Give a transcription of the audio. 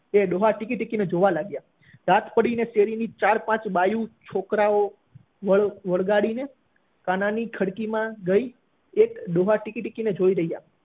એ ડોહા ટીકી ટીકી ને જોવા લાગ્યા રાત પડી ને શેરી ની ચાર પાંચ બાયું, છોકરાઓ વળગાળી ને કાના ની ખડકી માં ગઈ એ ડોહા ટીકી ટીકી ને જોઈ રહ્યા